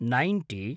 ninety